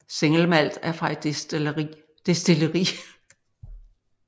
Single Malt er fra ét destilleri